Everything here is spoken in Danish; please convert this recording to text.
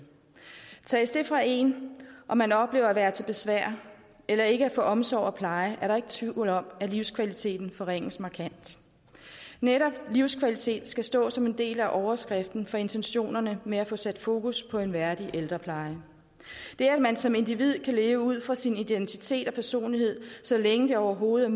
tages fra en og man oplever at være til besvær eller ikke at få omsorg og pleje er der ikke tvivl om at livskvaliteten forringes markant netop livskvalitet skal stå som en del af overskriften for intentionerne med at få sat fokus på en værdig ældrepleje det at man som individ kan leve ud fra sin identitet og personlighed så længe det overhovedet